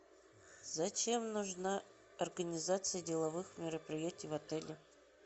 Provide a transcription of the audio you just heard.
зачем нужна организация деловых мероприятий в отеле